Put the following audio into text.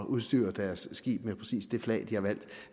udstyre deres skibe med præcis det flag de har valgt